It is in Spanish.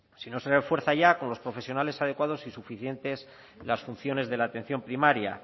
si no se refuerza ya con los profesionales adecuados y suficientes las funciones de la atención primaria